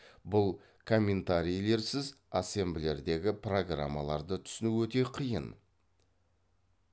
бұл комментарийлерсіз ассемблердегі программаларды түсіну өте қиын